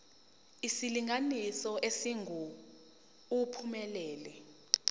isilinganiso esingu uphumelele